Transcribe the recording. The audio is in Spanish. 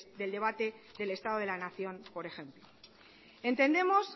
del debate del estado de la nación por ejemplo entendemos